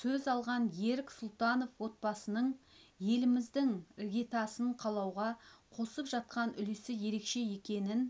сөз алған ерік сұлтанов отбасының еліміздің іргетасын қалауға қосып жатқан үлесі ерекше екенін